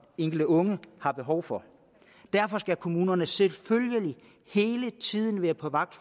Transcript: enkelte unge har behov for derfor skal kommunerne selvfølgelig hele tiden være på vagt